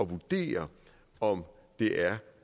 vurdere om det er